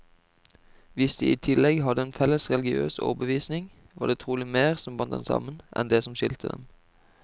Hvis de i tillegg hadde en felles religiøs overbevisning, var det trolig mer som bandt dem sammen, enn det som skilte dem.